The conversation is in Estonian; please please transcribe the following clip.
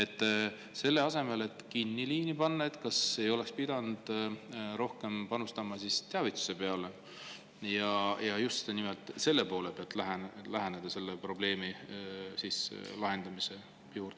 Kas selle asemel, et liini kinni panna, ei oleks pidanud rohkem panustama teavitusse ja lähenema selle probleemi lahendamisele just selle poole pealt?